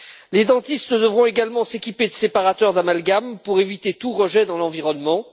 Les dentistes devront également s'équiper de séparateurs d'amalgames pour éviter tout rejet dans l'environnement.